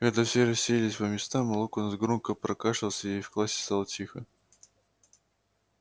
когда все расселись по местам локонс громко прокашлялся и в классе стало тихо